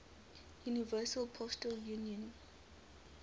universal postal union